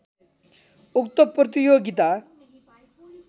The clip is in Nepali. उक्त प्रतियोगिता